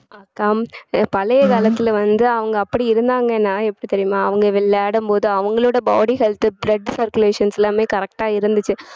அக்கா பழைய காலத்துல வந்து அவங்க அப்படி இருந்தாங்கன்னா எப்படி தெரியுமா அவங்க விளையாடும் போது அவங்களோட body health, blood circulations எல்லாமே correct ஆ இருந்துச்சு